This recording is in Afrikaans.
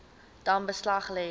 dan beslag lê